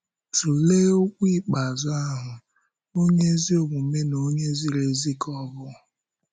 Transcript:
Tụlee okwu ikpeazụ ahụ: “Ọ̀nye ezi omume na onye ziri ezi ka Ọ bụ.”